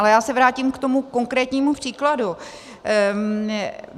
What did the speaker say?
Ale já se vrátím k tomu konkrétnímu příkladu.